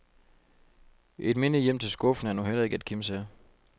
Et minde hjem til skuffen er nu heller ikke at kimse af.